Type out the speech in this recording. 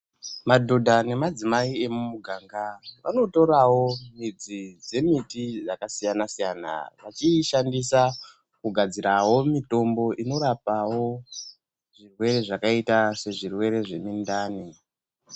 Madhodha nemadzimai emuganga anotoravo midzi dzemiti yakasiyana-siyana, vachiishandisa kugadzirawo mitombo inorapawo zvirwere zvakaita sezvirwere zvemundani.